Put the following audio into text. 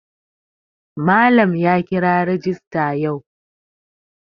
Malam ya kira rajista yau.